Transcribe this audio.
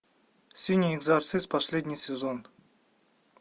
синий экзорцист последний сезон